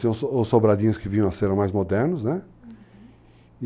Tem os sobradinhos que vinham a ser mais modernos, né? Uhum.